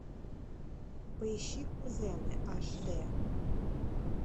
поищи кузены аш дэ